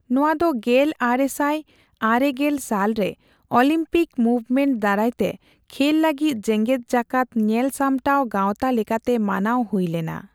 ᱱᱚᱣᱟ ᱫᱚ ᱜᱮᱞ ᱟᱨᱮ ᱥᱟᱭ ᱟᱨᱮ ᱜᱮᱞ ᱥᱟᱞ ᱨᱮ ᱚᱞᱤᱢᱯᱤᱠ ᱢᱩᱵᱷᱢᱮᱱᱴ ᱫᱟᱨᱟᱭᱛᱮ ᱠᱷᱮᱞ ᱞᱟᱹᱜᱤᱫ ᱡᱮᱜᱮᱫ ᱡᱟᱠᱟᱛ ᱧᱮᱞ ᱥᱟᱢᱴᱟᱣ ᱜᱟᱶᱛᱟ ᱞᱮᱠᱟᱛᱮ ᱢᱟᱱᱟᱣ ᱦᱩᱭᱞᱮᱱᱟ ᱾